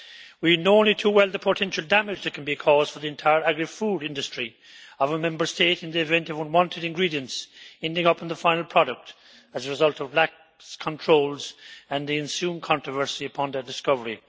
We know only too well the potential damage that can be caused for the entire agri food industry of a Member State in the even of unwanted ingredients ending up in the final product as a result of lax controls, with the ensuing controversy upon their discovery.